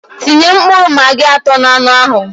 Tinye mkpụrụ magi atọ n'anu ahụ